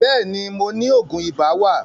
Bẹ́ẹ̀ni, mo ni Ògùn ibà wà